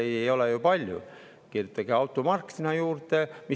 Neid ridu ei ole ju palju, kirjutage sinna juurde automark.